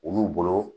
Olu bolo